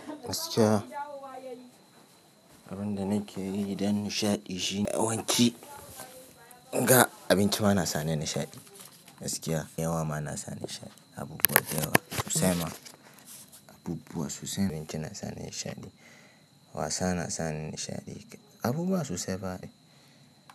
Gaskiya abun da nake yi dan nishaɗi shine yawanci ga abinci ma na sani nishaɗi, gaskiya. Yawa ma na sani nishaɗi. Abubuwa da yawa sosai ma abubuwa sosai abinci na sani nishaɗi. Wasa na sa ni nishaɗi. Abubuwa sosai.